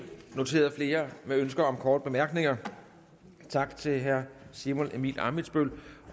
noteret flere med ønske om korte bemærkninger tak til herre simon emil ammitzbøll